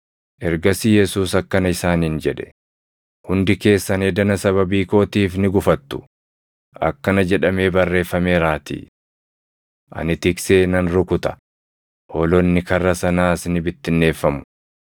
Ergasii Yesuus akkana isaaniin jedhe; “Hundi keessan edana sababii kootiif ni gufattu; akkana jedhamee barreeffameeraatii: “ ‘Ani tiksee nan rukuta; hoolonni karra sanaas ni bittinneeffamu.’ + 26:31 \+xt Zak 13:7\+xt*